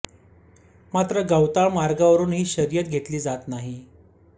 मात्र गवताळ मार्गावरून ही शर्यत घेतली जात नाही